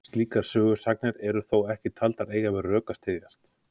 slíkar sögusagnir eru þó ekki taldar eiga við rök að styðjast